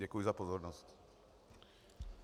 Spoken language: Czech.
Děkuji za pozornost.